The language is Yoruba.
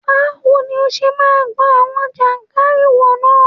Báwo ni ó ṣe máa gbọn àwọn ìjàkárìwọ̀ náà?